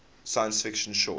science fiction short